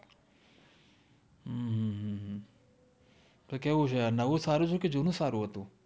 તો કેવુ છે નવુ સારુ છે કે જુનુ જ સારુ હતુ